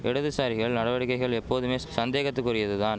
இடதுசாரிகள் நடவடிக்கைகள் எப்போதுமே சந்தேகத்துக்குரியது தான்